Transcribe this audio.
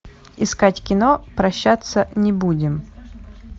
искать кино прощаться не будем